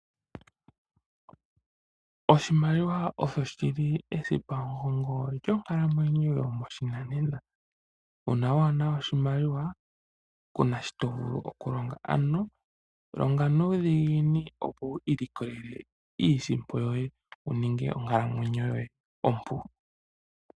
Oshimaliwa osho shili esipa mugongo lyonkalamwenyo yomoshinana, uuna waana oshimaliwa kunashito vulu okulonga ano longa nuudhiginini opo wiilikolele iisimpo yoye wuninge onkalamwenyo yoye ompu.